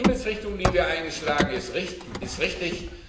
Die Himmelsrichtung, die wir eingeschlagen haben, ist richtig.